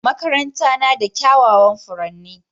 Makaranta na da kyawawan furanni